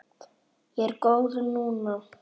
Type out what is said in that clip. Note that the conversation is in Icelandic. Ég er góð núna.